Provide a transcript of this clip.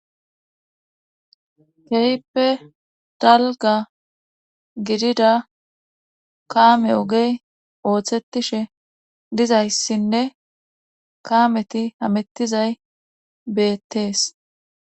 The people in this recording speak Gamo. Keehippe dalga gidida kaame ogey ooththetishe dizayssinne kaameti hamettizay beettees.